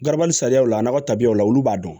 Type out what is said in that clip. Gabali sariyaw la a nakɔ tabiyaw la olu b'a dɔn